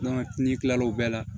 n'i kila l'o bɛɛ la